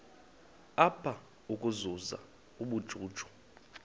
apha ukuzuza ubujuju